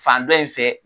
Fan dɔ in fɛ